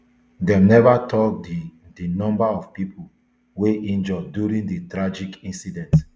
dem neva tok di di number of pipo wey injure during di tragic incident